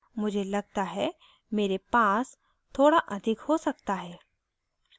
मुझे लगता है मेरे पास थोड़ा अधिक हो सकता है